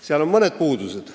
Seal on mõned puudused.